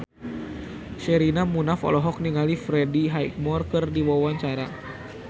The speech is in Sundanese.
Sherina Munaf olohok ningali Freddie Highmore keur diwawancara